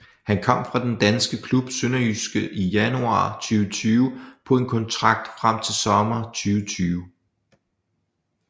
Han kom fra den danske klub SønderjyskE i januar 2020 på en kontrakt frem til sommer 2020